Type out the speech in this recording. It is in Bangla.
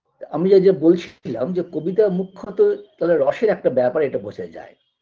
তা আমি যা যা বলছিলাম যে কবিতা মুখ্যত তালে রসের একটা ব্যাপার এটা বোঝা যায়